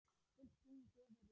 Fullt tungl gefur út.